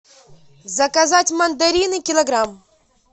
заказать мандарины килограмм